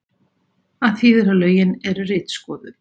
Það þýðir að lögin eru ritskoðuð